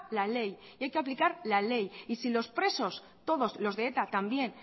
la ley y hay que aplicar la ley y si los presos todos los de eta también